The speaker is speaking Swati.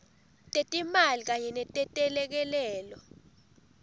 tetimali kanye netelekelelo